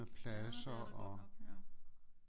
Ja det er der godt nok ja